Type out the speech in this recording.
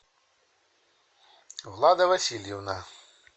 влада васильевна